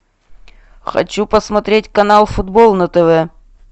хочу посмотреть канал футбол на тв